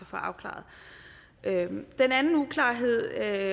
få afklaret den anden uklarhed er